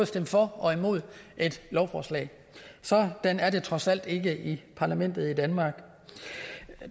stemme for og imod et lovforslag sådan er det trods alt ikke i parlamentet i danmark